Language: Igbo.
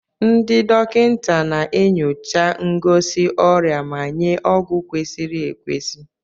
Ndị dọkịta na-enyocha ngosi ọrịa ma nye ọgwụ kwesịrị ekwesị.